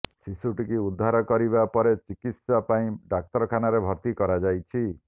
ଶିଶୁଟିକୁ ଉଦ୍ଧାର କରିବା ପରେ ଚିକିତ୍ସା ପାଇଁ ଡାକ୍ତରଖାନାରେ ଭର୍ତ୍ତି କରାଯାଇଛି